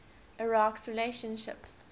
iraq s relationships